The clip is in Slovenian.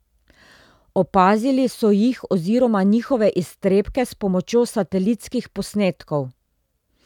Opazili so jih oziroma njihove iztrebke s pomočjo satelitskih posnetkov.